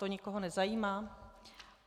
To nikoho nezajímá?